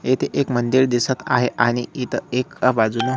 येथे एक मंदिर दिसत आहे आणि इथ एका बाजूला --